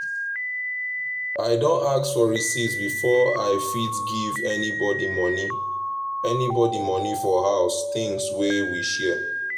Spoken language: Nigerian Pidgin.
i don ask for receipts before i fit give anybody money anybody money for house things wey we share.